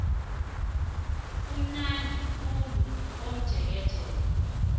kumnandi khulu komjekejeke